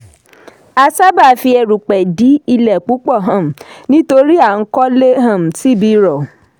a sáábà fi erùpẹ̀ dí ilẹ̀ púpọ̀ um nítorí à ń kọ́lé um sí ibi rọ̀.